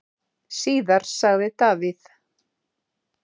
Síðar sagði Davíð: